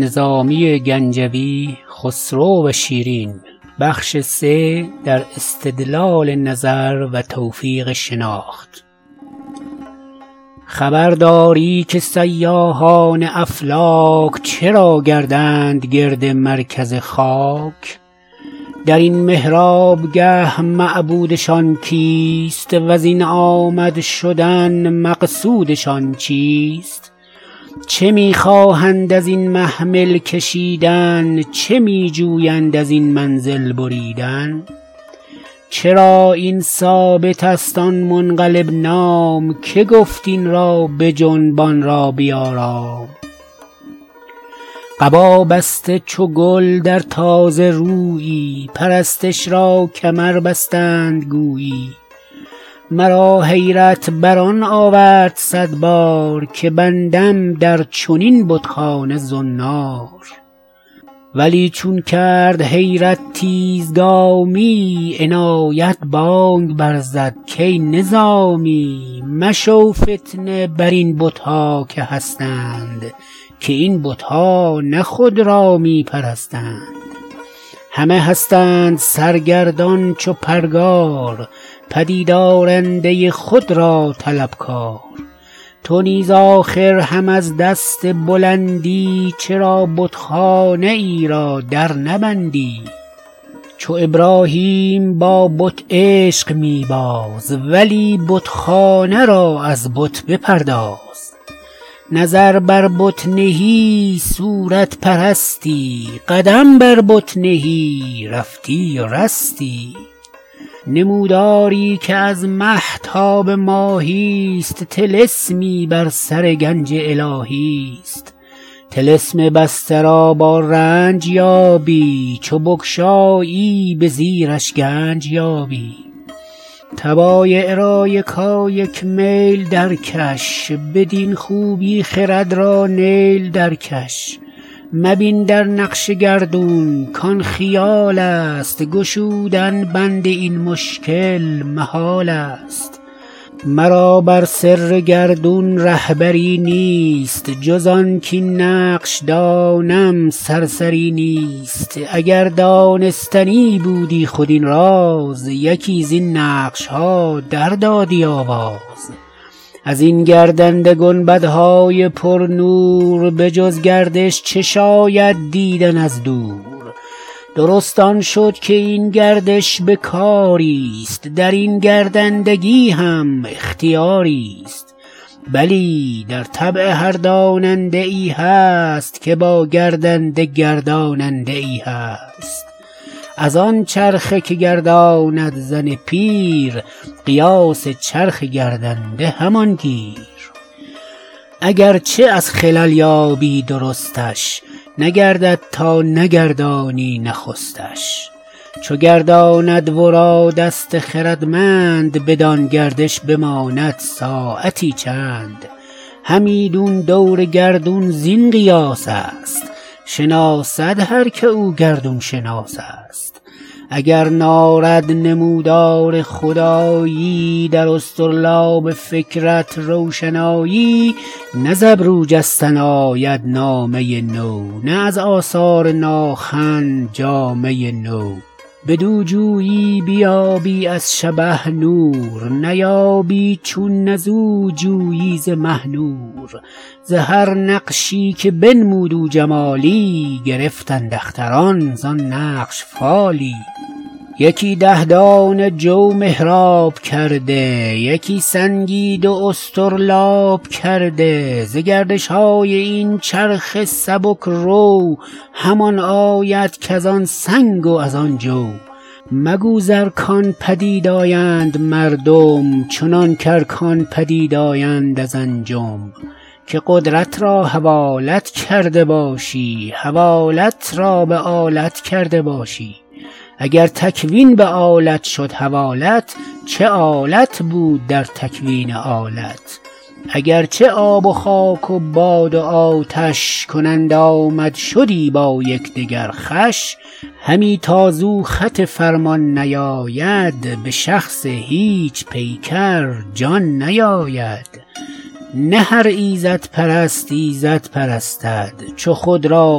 خبر داری که سیاحان افلاک چرا گردند گرد مرکز خاک در این محراب گه معبودشان کیست وزین آمد شدن مقصودشان چیست چه می خواهند ازین محمل کشیدن چه می جویند ازین منزل بریدن چرا این ثابت است آن منقلب نام که گفت این را بجنب آن را بیارام قبا بسته چو گل در تازه رویی پرستش را کمر بستند گویی مرا حیرت بر آن آورد صد بار که بندم در چنین بت خانه زنار ولی چون کرد حیرت تیزگامی عنایت بانگ بر زد کای نظامی مشو فتنه برین بت ها که هستند که این بت ها نه خود را می پرستند همه هستند سرگردان چو پرگار پدیدآرنده خود را طلب کار تو نیز آخر هم از دست بلندی چرا بت خانه ای را در نبندی چو ابراهیم با بت عشق می باز ولی بت خانه را از بت بپرداز نظر بر بت نهی صورت پرستی قدم بر بت نهی رفتی و رستی نموداری که از مه تا به ماهی ست طلسمی بر سر گنج الهی است طلسم بسته را با رنج یابی چو بگشایی به زیرش گنج یابی طبایع را یکایک میل در کش بدین خوبی خرد را نیل در کش مبین در نقش گردون کآن خیال است گشودن بند این مشکل محال است مرا بر سر گردون ره بری نیست جز آن کاین نقش دانم سرسری نیست اگر دانستنی بودی خود این راز یکی زین نقش ها دردادی آواز ازین گردنده گنبدهای پرنور به جز گردش چه شاید دیدن از دور درست آن شد که این گردش به کاری ست درین گردندگی هم اختیاری ست بلی در طبع هر داننده ای هست که با گردنده گرداننده ای هست از آن چرخه که گرداند زن پیر قیاس چرخ گردنده همان گیر اگر چه از خلل یابی درستش نگردد تا نگردانی نخستش چو گرداند ورا دست خردمند بدان گردش بماند ساعتی چند همیدون دور گردون زین قیاس است شناسد هر که او گردون شناس است اگر نارد نمودار خدایی در اصطرلاب فکرت روشنایی نه ز ابرو جستن آید نامه نو نه از آثار ناخن جامه نو بدو جویی بیابی از شبه نور نیابی چون نه زو جویی ز مه نور ز هر نقشی که بنمود او جمالی گرفتند اختران زان نقش فالی یکی ده دانه جو محراب کرده یکی سنگی دو اصطرلاب کرده ز گردش های این چرخ سبک رو همان آید کزان سنگ و از آن جو مگو ز ارکان پدید آیند مردم چنان که ارکان پدید آیند از انجم که قدرت را حوالت کرده باشی حوالت را به آلت کرده باشی اگر تکوین به آلت شد حوالت چه آلت بود در تکوین آلت اگر چه آب و خاک و باد و آتش کنند آمدشدی با یکدگر خوش همی تا زو خط فرمان نیاید به شخص هیچ پیکر جان نیاید نه هر ایزدپرست ایزد پرستد چو خود را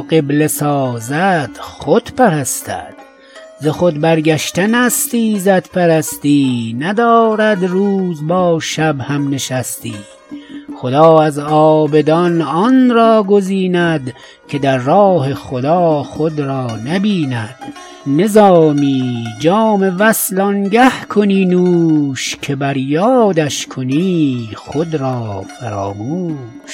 قبله سازد خود پرستد ز خود برگشتن است ایزدپرستی ندارد روز با شب هم نشستی خدا از عابدان آن را گزیند که در راه خدا خود را نبیند نظامی جام وصل آنگه کنی نوش که بر یادش کنی خود را فراموش